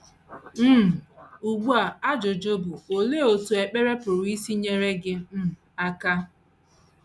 * um Ugbu a ajụjụ bụ, Olee otú ekpere pụrụ isi nyere gị um aka?